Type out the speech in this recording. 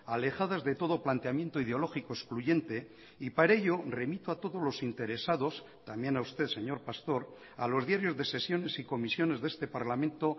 alejadas de todo planteamiento ideológico excluyente y para ello remito a todos los interesados también a usted señor pastor a los diarios de sesiones y comisiones de este parlamento